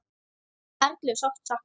Erlu er sárt saknað.